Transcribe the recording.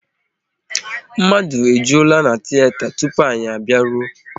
Mmadụ ejulaa na tiyeta tupu anyị a bịaruo